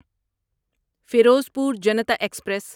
Ferozepur Janata express